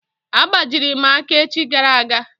A gbajiri m aka echi gara aga.